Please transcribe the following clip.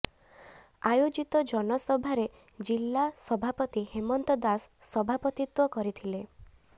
ଆୟୋଜିତ ଜନସଭାରେ ଜିଲ୍ଲା ସଭାପତି ହେମନ୍ତ ଦାସ ସଭାପତିତ୍ବ କରିଥିଲେ